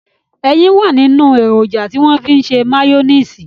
Ẹyin wà nínú èròjà tí wọ́n fi ń ṣe máyóníìsì